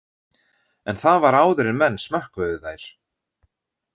En það var áður en menn smökkuðu þær